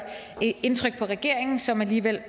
indtryk på regeringen som alligevel